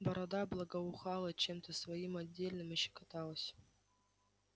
борода благоухала чем-то своим отдельным и щекоталась